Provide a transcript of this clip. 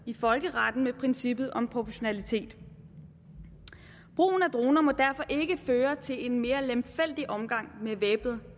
i folkeretten med princippet om proportionalitet brugen af droner må derfor ikke føre til en mere lemfældig omgang med væbnet